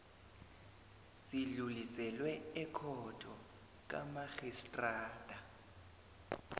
sidluliselwe ekhotho kamarhistrada